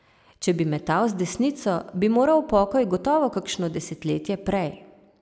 Če bi metal z desnico, bi moral v pokoj gotovo kakšno desetletje prej.